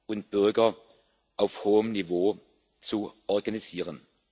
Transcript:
und Bürger auf hohem Niveau zu organisieren.